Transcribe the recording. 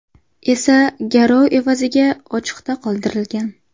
esa garov evaziga ochiqda qoldirilgan.